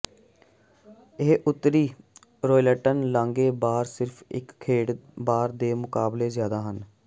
ਇਹ ਉੱਤਰੀ ਰੌਇਲਟਨ ਲਾਂਘੇ ਬਾਹਰ ਸਿਰਫ ਇੱਕ ਖੇਡ ਬਾਰ ਦੇ ਮੁਕਾਬਲੇ ਜ਼ਿਆਦਾ ਹੈ